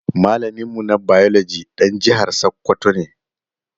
Malamin mu na biology ɗan jihar sakwwato ne